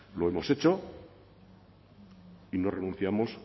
lo hemos hecho y no renunciamos